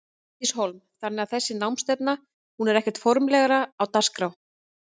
Bryndís Hólm: Þannig að þessi námsstefna hún er ekkert formlegra á dagskrá?